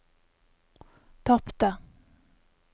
tapte